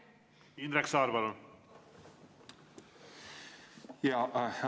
Indrek Saar, palun!